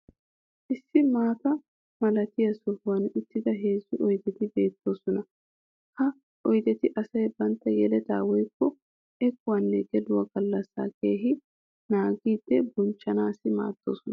issi maata malattiya sohuwan uttida heezzu oydeti beettoosona. ha oydeti asay bantta yelettaa woykko ekkuwaanne gelluwaa galassaa keehi naagidi bonchchanaassi maaddoosona.